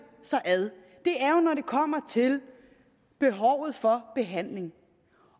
er jo når det kommer til behovet for behandling